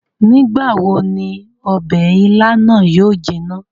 Nigbawo ni ọbẹ ìlà na yóò jina?